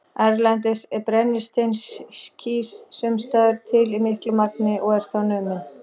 Erlendis er brennisteinskís sums staðar til í miklu magni og er þá numinn.